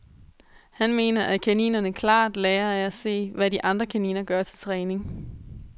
Han mener, at kaninerne klart lærer af at se, hvad de andre kaniner gør til træning.